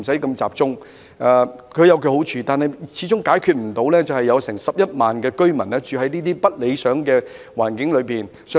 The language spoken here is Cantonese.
但是，這樣的安排，始終解決不到現時超過11萬名市民居於不理想的環境中的問題。